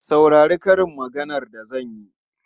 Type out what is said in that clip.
Saurari karin maganar da zan yi!